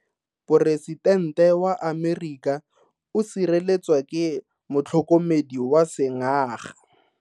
Poresitente wa Amerika o sireletswa ke motlhokomedi wa sengaga.